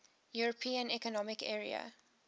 european economic area